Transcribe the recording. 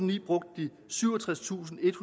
ni brugte de syvogtredstusinde